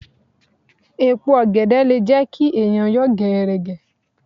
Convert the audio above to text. Èèpo ọ̀gẹ̀dẹ̀ le jẹ́ kí ẹ̀yàn yọ̀ gẹ̀ẹ̀rẹ̀gẹ̀.